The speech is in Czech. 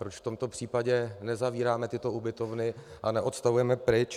Proč v tomto případě nezavíráme tyto ubytovny a neodstavujeme pryč.